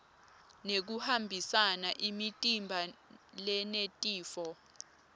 nekuhambisa imitimba lenetifo